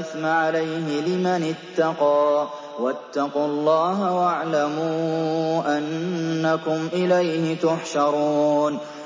إِثْمَ عَلَيْهِ ۚ لِمَنِ اتَّقَىٰ ۗ وَاتَّقُوا اللَّهَ وَاعْلَمُوا أَنَّكُمْ إِلَيْهِ تُحْشَرُونَ